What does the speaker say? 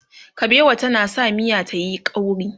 kabewa tana sa miya tayi ƙauri